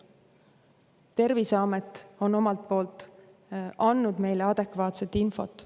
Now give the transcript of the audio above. Terviseamet on omalt poolt andnud meile adekvaatset infot.